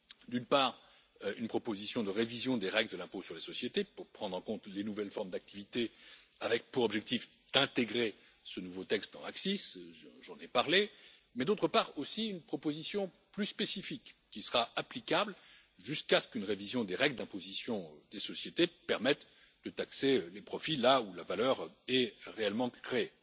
D'une part, une proposition de révision des règles de l'impôt sur les sociétés, pour prendre en compte les nouvelles formes d'activité, avec pour objectif d'intégrer ce nouveau texte dans l'ACCIS j'en ai parlé mais d'autre part aussi une proposition plus spécifique, qui sera applicable jusqu'à ce qu'une révision des règles d'imposition des sociétés permette de taxer les profits là où la valeur est réellement créée.